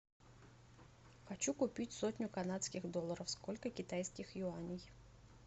хочу купить сотню канадских долларов сколько китайских юаней